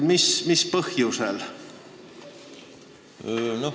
Mis põhjusel?